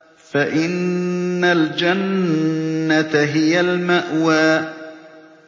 فَإِنَّ الْجَنَّةَ هِيَ الْمَأْوَىٰ